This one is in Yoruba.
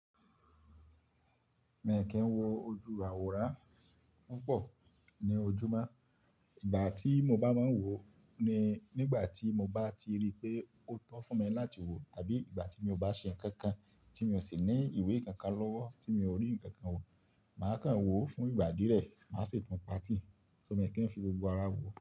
Mii kín wo ojú àwòrán púpọ̀ ní ojúmọ́. Ìgbà tí mo bá máa ń wò ó ni nígbà tí mo bá ti rí pé ó tọ́ fún mi láti wò ó àbí ìgbà tí mio bá ṣe nǹkan kan tí mi ò sì ní ìwé kankan lọ́wọ́ tí mi ò rí nǹkan kan wò, màá kàn wò ó fún ìgbà díẹ̀ rẹ̀, màá ṣi tun pàatí, só mio kín ń fi gbogbo ara wò ó.